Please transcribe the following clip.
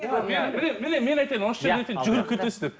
міне мен айтайын жүгіріп кетесіз деп